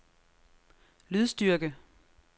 lydstyrke